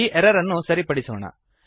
ಈ ಎರರ್ ಅನ್ನು ಸರಿಪಡಿಸೋಣ